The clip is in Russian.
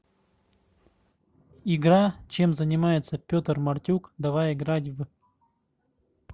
игра чем занимается петр мартюк давай играть в